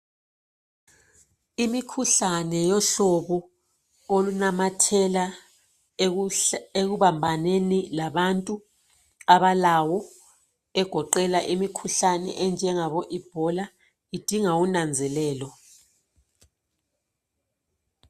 Imikhuhlane yohlobo olunamathela ekuhl ekubambaneni labantu abalawo egoqela imikhuhlane enjengabo Ebola idinga unanzelelo.